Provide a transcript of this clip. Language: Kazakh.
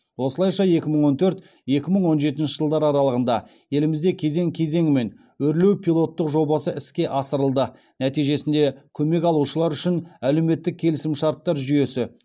осылайша екі мың он төрт екі мың он жетінші жылдар аралығында елімізде кезең кезеңімен өрлеу пилоттық жобасы іске асырылды нәтижесінде көмек алушылар үшін әлеуметтік келісімшарттар жүйесі